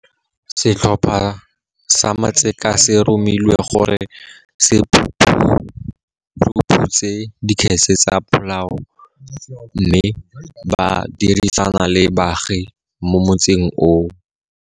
Setlhopha sa matseka se romilwe gore se phuruphutse dikgetse tsa polao mme ba dirisana le baagi mo motseng oo.